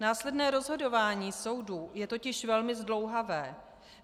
Následné rozhodování soudů je totiž velmi zdlouhavé.